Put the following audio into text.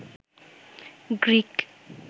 Greek